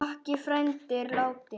Makki frændi er látinn.